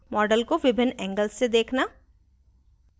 model को विभिन्न angles से देखना